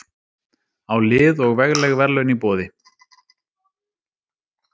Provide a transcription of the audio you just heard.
Á lið og vegleg verðlaun í boði.